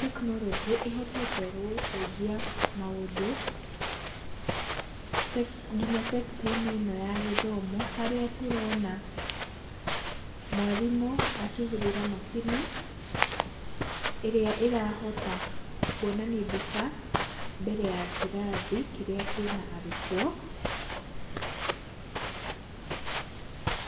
tekinoronjĩ ĩhotete gũcenjia maũndũ nginya sector -inĩ ĩno ya gĩthomo harĩa tũrona mwarimũ akĩhũthĩra macini ĩrĩa ĩrahota kwonani mbica mbere ya kĩrathi kĩrĩa kĩna arutwo.